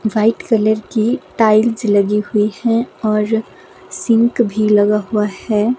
White colour की tiles लगी हुई है और सिंक भी लगा हुआ है।